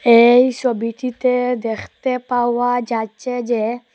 এই সোবিটিতে দেখতে পাওয়া যাচ্চে যে--